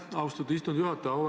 Aitäh, austatud istungi juhataja!